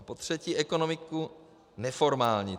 A za třetí ekonomiku neformální.